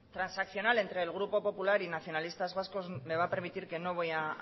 transaccional entre el grupo popular y nacionalistas vascos me va a permitir que no vaya